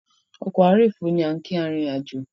"ọkọ̀ á rè fò" ni á ń kìí arìnrìn-àjò